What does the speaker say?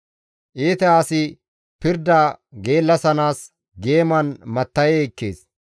Iita asi pirda geellasanaas geeman matta7e ekkees.